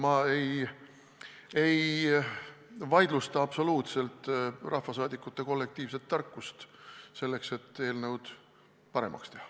Ma ei vaidlusta üldse rahvasaadikute kollektiivset tarkust selleks, et eelnõu paremaks teha.